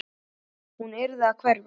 Hún yrði að hverfa.